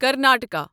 Karnataka